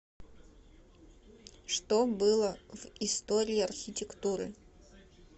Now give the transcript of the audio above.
что было в история архитектуры